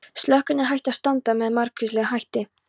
Slökun er hægt að stunda með margvíslegum hætti.